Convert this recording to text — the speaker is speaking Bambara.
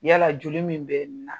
Yala joli min bɛ nin na